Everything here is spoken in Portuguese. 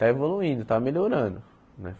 Está evoluindo, está melhorando, né?